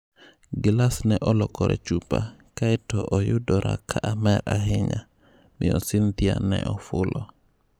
Gilas ne olokore chupa, kae to oyudora ka amer ahinya," miyo Cynthia ne ofulo.